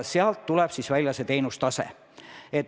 Sealt tuleb välja teenustase.